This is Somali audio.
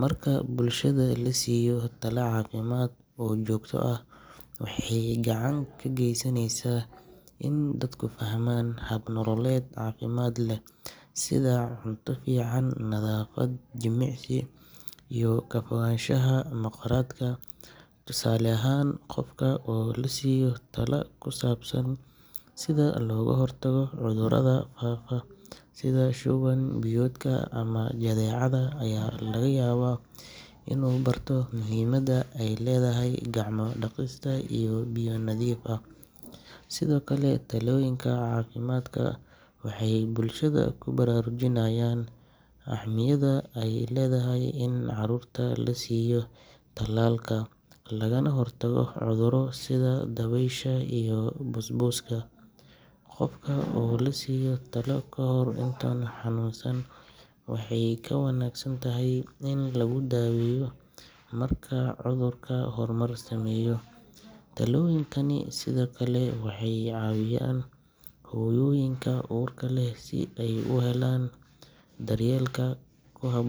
Marka bulshada la siiyo talo caafimaad oo joogto ah waxay gacan ka geysanaysaa in dadku fahmaan hab nololeed caafimaad leh sida cunto fiican, nadaafad, jimicsi iyo ka fogaanshaha mukhaadaraadka. Tusaale ahaan, qofka oo la siiyo talo ku saabsan sida looga hortago cudurrada faafa sida shuban-biyoodka ama jadeecada ayaa laga yaabaa inuu barto muhiimadda ay leedahay gacmo-dhaqista iyo biyo nadiif ah. Sidoo kale, talooyinka caafimaadka waxay bulshada ku baraarujinayaan ahmiyadda ay leedahay in carruurta la siiyo talaalka lagana hortago cudurro sida dabaysha iyo busbuska. Qofka oo la siiyo talo kahor intaanu xanuunsan waxay ka wanaagsan tahay in lagu daweeyo marka cudurku horumar sameeyo. Talooyinkani sidoo kale waxay caawiyaan hooyooyinka uurka leh si ay u helaan daryeelka ku habbo.